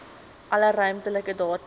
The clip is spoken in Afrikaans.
alle ruimtelike data